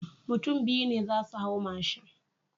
Mutun biyu ne zasu hau mashin